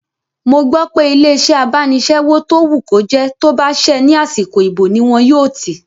Mo gbọ́ pé ilé-iṣẹ́ abánisẹ́wò tó wù kó jẹ́ tó bá ṣẹ́ ní àsìkò ìbò ní wọn yóò tì